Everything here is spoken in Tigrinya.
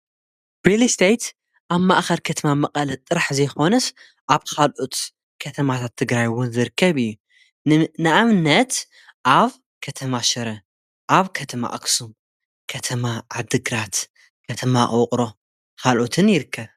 ማለት ብመሬትን ኣብ ልዕሊኡ ዝርከቡ ህንፃታትን ዝቖመ ንብረት ማለት እዩ። መንበሪ፣ ንግዳዊን ኢንዱስትርያዊን ንብረት ዘጠቓልል እዩ። ንብረት ከም ወፍሪ ወይ ንኣጠቓቕማ ዝዕደግ፡ ዝሽየጥ ወይ ዝካረ እዩ።